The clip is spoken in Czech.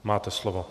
Máte slovo.